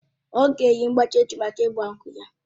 Ọ̀ ga-eyi mgbájí echi mákà ịgba nkwú ya